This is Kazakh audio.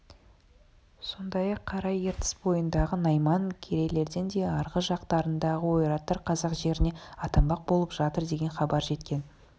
сондай-ақ қара ертіс бойындағы найман керейлерден де арғы жақтарындағы ойраттар қазақ жеріне аттанбақ болып жатыр деген хабар жеткен